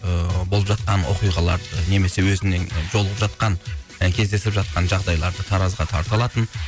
ыыы болып жатқан оқиғалар немесе өзінің жолығып жатқан і кездесіп жатқан жағдайларды таразыға тарта алатын